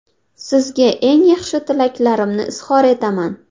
Sizga eng yaxshi tilaklarimni izhor etaman.